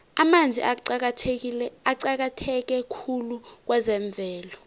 amanzi aqakatheke khulu kwezemvelo